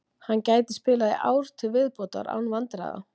Hann gæti spilað í ár til viðbótar án vandræða.